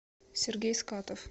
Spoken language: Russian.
сергей скатов